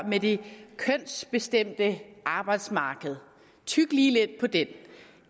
med det kønsbestemte arbejdsmarked tyg lige lidt på den